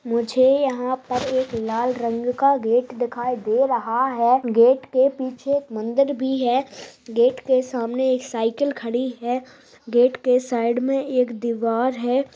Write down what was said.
मुझे यहां पर एक लाल रंग का गेट दिखाई दे रहा है। गेट के पीछे मंदिर भी है गेट के सामने एक साईकल खड़ी है गेट के साइड में एक दीवार है।